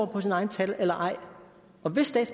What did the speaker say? på sine egne tal eller ej